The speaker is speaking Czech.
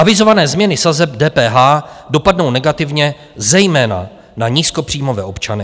Avizované změny sazeb DPH dopadnou negativně zejména na nízkopříjmové občany.